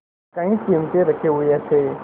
कई चिमटे रखे हुए थे